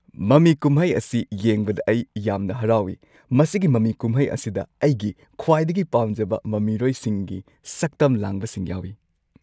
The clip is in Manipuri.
ꯃꯃꯤ ꯀꯨꯝꯍꯩ ꯑꯁꯤ ꯌꯦꯡꯕꯗ ꯑꯩ ꯌꯥꯝꯅ ꯍꯔꯥꯎꯢ꯫ ꯃꯁꯤꯒꯤ ꯃꯃꯤ ꯀꯨꯝꯍꯩ ꯑꯁꯤꯗ ꯑꯩꯒꯤ ꯈ꯭ꯋꯥꯏꯗꯒꯤ ꯄꯥꯝꯖꯕ ꯃꯃꯤꯔꯣꯏꯁꯤꯡꯒꯤ ꯁꯛꯇꯝ ꯂꯥꯡꯕꯁꯤꯡ ꯌꯥꯎꯏ꯫